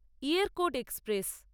Yercaud express